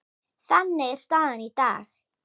Þannig er staðan í dag.